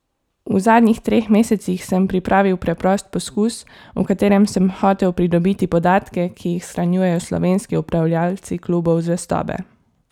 V zadnjih treh mesecih sem pripravil preprost poskus, v katerem sem hotel pridobiti podatke, ki jih shranjujejo slovenski upravljavci klubov zvestobe.